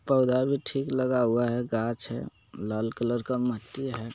पौधा भी ठीक लगा हुआ है घाच है लाल कलर का माटी हैं।